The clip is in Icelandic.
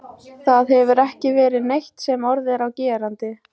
Það hefur ekki verið neitt sem orð er á gerandi.